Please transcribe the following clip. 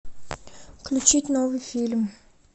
включить новый фильм